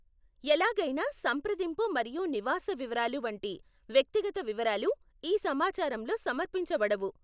ఎలాగైనా సంప్రదింపు మరియు నివాస వివరాలు వంటి వ్యక్తిగత వివరాలు ఈ సమాచారంలో సమర్పించబడవు.